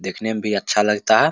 देखने में भी अच्छा लगता है।